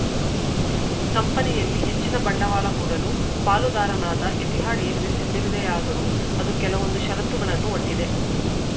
ಕಂಪನಿಯಲ್ಲಿ ಹೆಚ್ಚಿನ ಬಂಡವಾಳ ಹೂಡಲು ಪಾಲುದಾರನಾದ ಎತಿಹಾದ್‌ ಏರ್‌ವೇಸ್‌ ಸಿದ್ಧವಿದೆಯಾದರೂ ಅದು ಕೆಲವೊಂದು ಷರತ್ತುಗಳನ್ನು ಒಡ್ಡಿದೆ